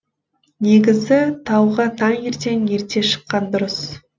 негізі тауға таңертең ерте шыққан дұрыс